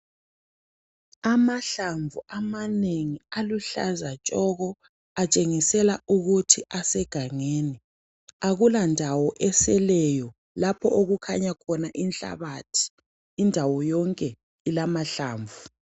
Amahlamvu amanengi aluhlaza tshoko, atshengisela ukuthi asegangeni. Akulandawo eseleyo lapho okukhanya khona inhlabathi indawo yonke ilamahlamnvu.